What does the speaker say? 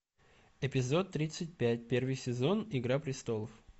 эпизод тридцать пять первый сезон игра престолов